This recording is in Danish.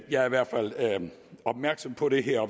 jeg er i hvert fald opmærksom på det her